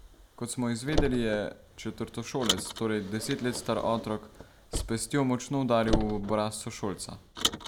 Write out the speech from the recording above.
Kot smo izvedeli, je četrtošolec, torej deset let star otrok, s pestjo močno udaril v obraz sošolca.